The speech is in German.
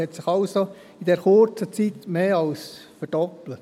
In dieser kurzen Zeit hat sich der Betrag also mehr als verdoppelt.